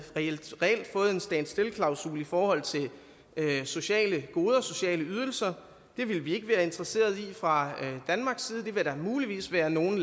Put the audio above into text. fået en stand still klausul i forhold til sociale goder og sociale ydelser det ville vi ikke være interesseret i fra danmarks side det ville der muligvis være nogle